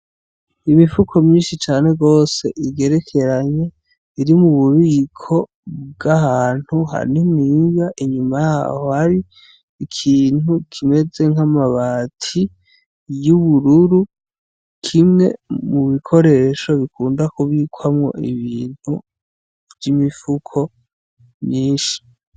Imifuko myinshi cane rwose igerekeranye iri mu bubiko bw'ahantu hani mwinga inyuma yaho hari ikintu kimeze nk'amabati y'ubururu kimwe mu bikoresho bikunda kubikwamwo ibintu mwa imifuko nyinshi.